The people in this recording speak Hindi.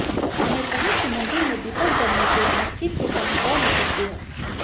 उन्होंने कहा कि मंदिर में दीपक जलने से मस्जिद की शान और निखरती है